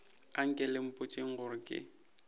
anke le mpotšeng gore ke